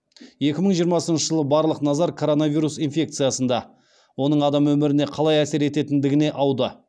екі мың жиырмасыншы жылы барлық назар коронавирус инфекциясында оның адам өміріне қалай әсер ететіндігіне ауды